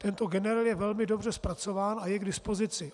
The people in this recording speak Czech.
Tento generel je velmi dobře zpracován a je k dispozici.